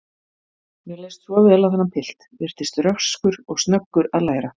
Mér leist svo vel á þennan pilt, virtist röskur og snöggur að læra.